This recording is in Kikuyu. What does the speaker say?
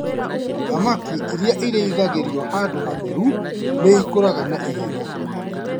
Thamaki iria irĩithagĩrio handũ hatheru nĩ ikũraga naihenya.